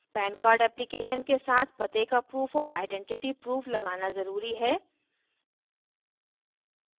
pan card application के साथ पते का proof और आइडेंटिटी proof लगाना ज़रूरी है